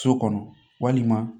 So kɔnɔ walima